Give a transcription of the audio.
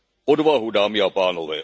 Odvahu, dámy a pánové!